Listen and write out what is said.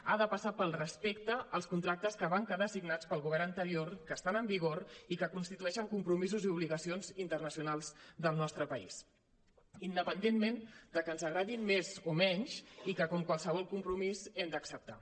ha de passar pel respecte als contractes que van quedar signats pel govern anterior que estan en vigor i que constitueixen compromisos i obligacions internacionals del nostre país independentment de que ens agradin més o menys i que com qualsevol compromís hem d’acceptar